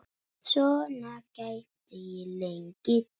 Svona gæti ég lengi talið.